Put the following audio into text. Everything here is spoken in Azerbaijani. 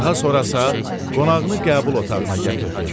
Daha sonra isə qonağını qəbul otağına gətirdi.